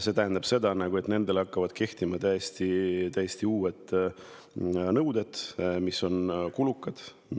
See tähendab seda, et nendele hakkavad kehtima täiesti uued nõuded, mis on kulukad.